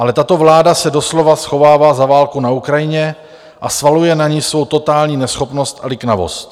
Ale tato vláda se doslova schovává za válku na Ukrajině a svaluje na ni svou totální neschopnost a liknavost.